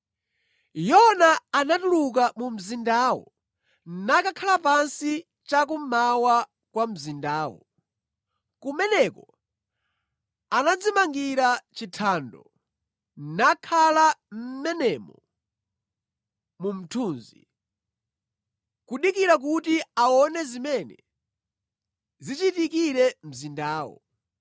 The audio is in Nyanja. Yona anatuluka mu mzindamo nakakhala pansi cha kummawa kwa mzindawo. Kumeneko anadzimangira chithando nakhala mʼmenemo mu mthunzi, kudikira kuti aone zimene zichitikire mzindawo.